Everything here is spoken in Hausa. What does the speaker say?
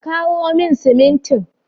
Ka kawo min simin tin.